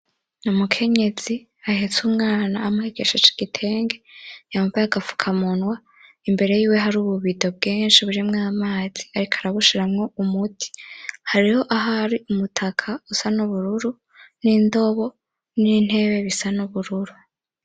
Umukenyezi ahetse umwana amukenyesheje igitege yambaye agafukamunwa imbere yiwe hari ububido bwinshi harimwo amazi ariko arabushiramwo umuti hariho ahari umutaka usa n'ubururu nindobo n'intebe bisa nubururu.